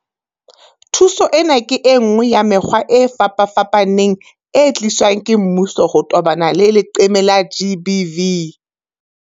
Thuso ena ke enngwe ya mekgwa e fapafapaneng e tliswang ke mmuso ho tobana le leqeme la GBV.